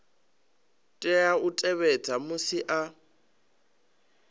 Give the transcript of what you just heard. tea u tevhedza musi a